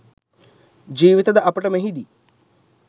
ජීවිතද අපට මෙහිදී